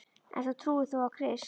En þú trúir þó á Krist?